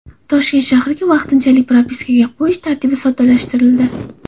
Toshkent shahriga vaqtinchalik propiskaga qo‘yish tartibi soddalashtirildi.